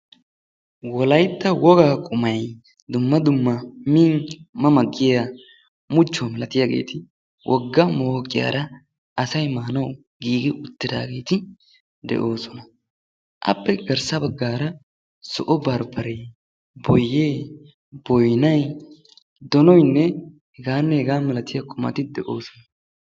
Wolaytta wogaa qumay dumma dumma min mama giyaa muchuwa malatiyageeti woga mooqiyaara asay maanawu giigi uttidaageeti de'oosona. appe garssa bagaara zo'o barbaree, boyee, boynnay, donoynne hegaanne hegaa milattiyaageeti de'oosona.